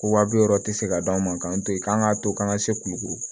Ko wa bi wɔɔrɔ tɛ se ka d'an ma k'an to yen k'an k'a to k'an ka se kulukuru